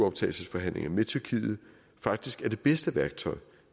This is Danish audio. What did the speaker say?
optagelsesforhandlinger med tyrkiet faktisk er det bedste værktøj